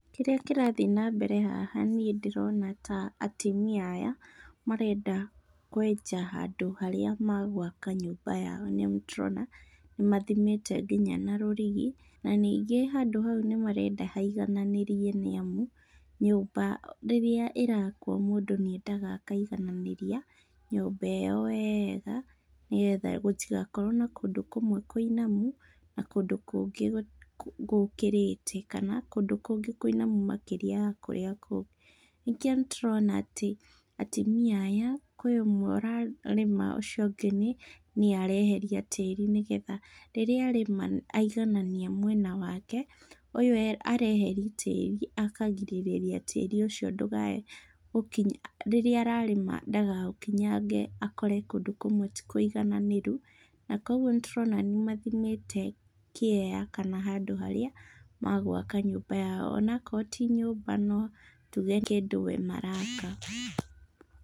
Kĩrĩa kĩrathiĩ na mbere haha niĩ ndĩrona ta atumia aya marenda kwenja handũ harĩa magwaka nyũmba yao, nĩamu nĩtũrona nĩmathimĩte kinya na rũrigi. Na ningĩ handũ hau nĩmarenda haigananĩrie nĩamu, nyũmba rĩrĩa ĩrakwo mũndũ nĩendaga akaigananĩria nyũmba ĩyo weega nĩgetha gũtigakorwo na kũndũ kũmwe kũinamu na kũndũ kũngĩ gũkĩrĩte, kana kũndũ kũngĩ kũinamu makĩria ya kũrĩa kũngĩ. Ningĩ nĩtũrona atĩ atumia aya kwĩ ũmwe ũrarĩma ũcio ũngĩ nĩe areheria tĩri nĩgetha rĩrĩa arĩma aiganania mwena wake, ũyũ areheria tĩri akagirĩrĩria tĩri ũcio ndũkae gũkinya rĩrĩa ararĩma ndakaũkinyange akore kũndũ kũmwe ti kũigananĩru, na koguo nĩtũrona nĩmathimĩte kĩea kana handũ harĩa magwaka nyũmba yao, ona akorwo ti nyũmba no tuge kĩndũ we maraka.